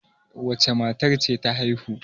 wacece matar ce ta haihu?